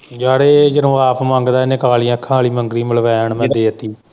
ਯਾਰ ਜਦੋਂ ਇਹ ਆਪ ਮੰਗਦਾ ਏ ਇਹਨੇ ਕਾਲ਼ੀਆਂ ਅੱਖਾਂ ਵਾਲੀ ਮੰਗਣੀ ਮਲਵੈਣ ਮੈਂ ਦੇ ਤੀ।